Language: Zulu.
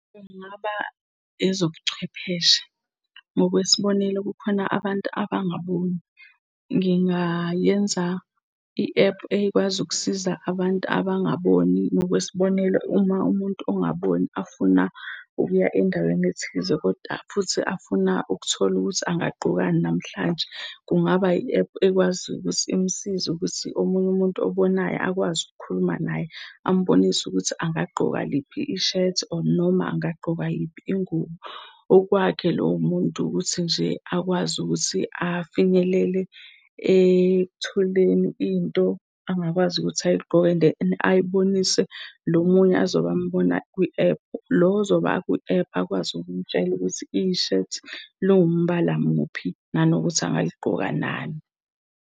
Kungaba ezobuchwepheshe. Ngokwesibonelo, kukhona abantu abangaboni. Ngingayenza i-app ekwazi ukusiza abantu abangaboni. Ngokwesibonelo, uma umuntu ongaboni afuna ukuya endaweni ethize, koda futhi afuna ukuthola ukuthi angaqokani namhlanje. Kungaba yi-APP ekwaziyo ukuthi imsize ukuthi omunye umuntu obonayo akwazi ukukhuluma naye ambonise ukuthi angagqoka liphi ishethi, or noma angagqoka yiphi ingubo? Okwakhe lowo muntu ukuthi nje akwazi ukuthi afinyelele ekutholeni into angakwazi ukuthi ayigqoke, and then ayibonise lo munye azobe ambona kwi-app, lo ozoba akwi-app akwazi ukumtshela ukuthi ishethi liwumbala muphi, nanokuthi angaligqoka nani.